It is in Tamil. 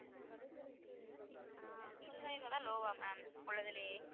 முப்பதாயிரம் தான் low வா ma'am உள்ளதுலையே?